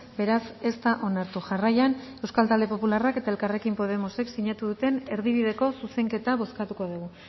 beraz ez da onartu jarraian euskal talde popularrak eta elkarrekin podemosek sinatu duten erdibideko zuzenketa bozkatuko dugu